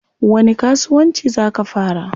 Wani kasuwanci zaa ka fara?